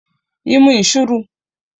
Yi mun shiru!